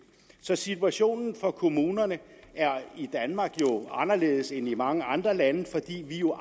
så situationen for kommunerne er i danmark anderledes end i mange andre lande fordi vi jo